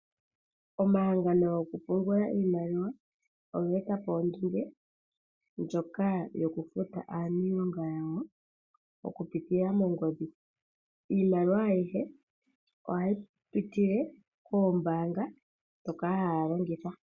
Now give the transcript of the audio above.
Omahangano gokupungula iimaliwa oga eta po ondunge ndjoka yo ku futa aaniilonga yawo oku pitila mongodhi. Iimaliwa ayihe oha yi pitile koombaanga ndhoka ha ya longitha.